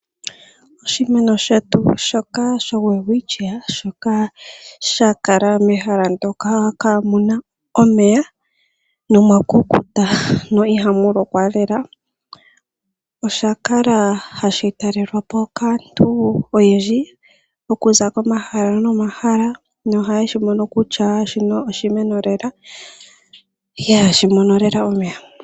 Oshimeno shetu shoka sho Welwitschia, shoka sha kala mehala ndoka kaa mu na omeya nomwa kukuta, no ihamu lokwa lela, osha kala hashi talelwa po kaantu oyendji okuza komahala nomahala, noha ye shi mono kutya shino oshimeno lela ihaashi mono lela omeya.